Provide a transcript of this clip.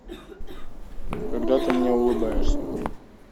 когда ты мне улыбаешься